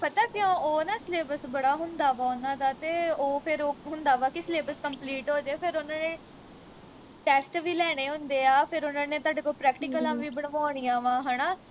ਪਤਾ ਕਿਉ ਉਹ ਨਾ syllabus ਬੜਾ ਹੁੰਦਾ ਵਾ ਉਨ੍ਹਾਂ ਦਾ ਤੇ ਉਹ ਫਿਰ ਉਹ ਹੁੰਦਾ ਵਾ ਕਿ syllabus complete ਹੋ ਜੇ ਫਿਰ ਉਨ੍ਹਾਂ ਨੇ test ਵੀ ਲੈਣੇ ਹੁੰਦੇ ਆ ਫਿਰ ਉਨ੍ਹਾਂ ਨੇ ਤੁਹਾਡੇ ਤੋਂ ਪ੍ਰੈਕਟੀਕਲਾਂ ਵੀ ਬਣਵਾਉਣੀਆਂ ਵਾਂ ਹਣਾ